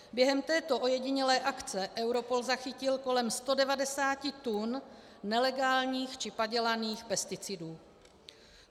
Během této ojedinělé akce Europol zachytil kolem 190 tun nelegálních či padělaných pesticidů.